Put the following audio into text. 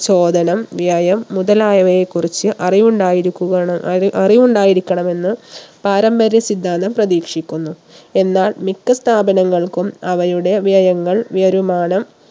ചോദനം വ്യയം മുതലായവയെക്കുറിച്ച് അറിവുണ്ടായിരിക്കുവണം അറി അറിവുണ്ടായിരിക്കണമെന്ന് പാരമ്പര്യ സിദ്ധാന്തം പ്രധീക്ഷിക്കുന്നു എന്നാൽ മിക്ക സ്ഥാപനങ്ങൾക്കും അവയുടെ വ്യയങ്ങൾ വരുമാനം